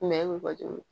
Mɛ bɔ cogo min